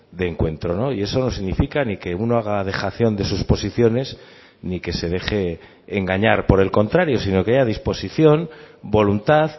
de encuentro y eso no significa ni que uno haga dejación de sus posiciones ni que se deje engañar por el contrario sino que haya disposición voluntad